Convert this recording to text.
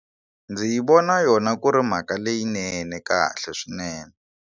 Ndzi yi vona yona ku ri mhaka leyinene kahle swinene.